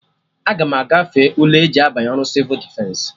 Aga m agafe ule eji abanye ọrụ Sịvụ Defensị